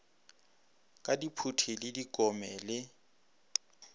ka diphuti le dikome le